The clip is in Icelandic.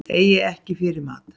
Eiga ekki fyrir mat